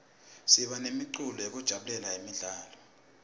siba nemicimbi yekujabulela temidlalo